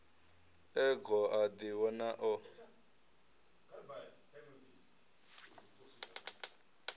e goo a ḓivhona o